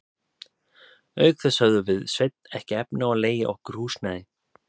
Auk þess höfðum við Sveinn ekki efni á að leigja okkur húsnæði.